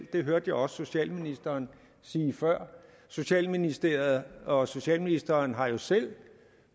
det hørte jeg også socialministeren sige før socialministeriet og socialministeren har jo selv